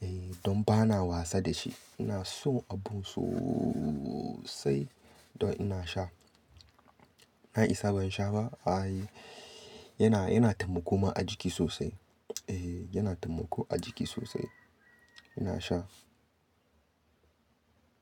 Ehh don ba na wasa da shi. Ina son abun sosai don ina sha. Na isa ban sha ba? Ai yana, yana taimako ma ajiki sosai. Eh yana taimako ajiki sosai. Ina sha.